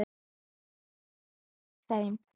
Nú væri komið að þeim.